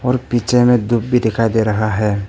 और पीछे में धूप भी दिखाई दे रहा है।